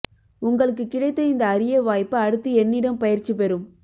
உங்களுக்குக் கிடைத்த இந்த அரிய வாய்ப்பு அடுத்து என்னிடம் பயிற்சி பெறும்